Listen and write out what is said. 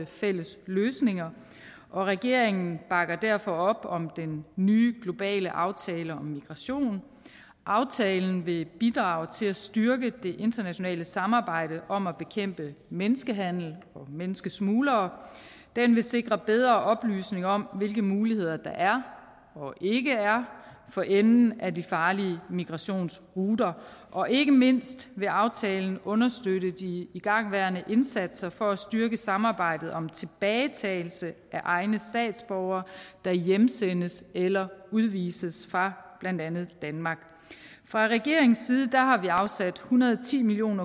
fælles løsninger og regeringen bakker derfor op om den nye globale aftale om migration aftalen vil bidrage til at styrke det internationale samarbejde om at bekæmpe menneskehandel og menneskesmuglere den vil sikre en bedre oplysning om hvilke muligheder der og ikke er for enden af de farlige migrationsruter og ikke mindst vil aftalen understøtte de igangværende indsatser for at styrke samarbejdet om tilbagetagelse af egne statsborgere der hjemsendes eller udvises fra blandt andet danmark fra regeringens side har vi afsat en hundrede og ti million